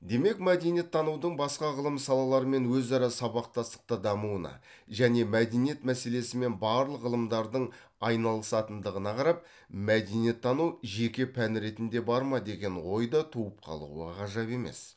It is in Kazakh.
демек мәдениеттанудың басқа ғылым салаларымен өзара сабақтастықта дамуына және мәдениет мәселесімен барлық ғылымдардың айналысатындығына қарап мәдениеттану жеке пән ретінде бар ма деген ой да туып қалуы ғажап емес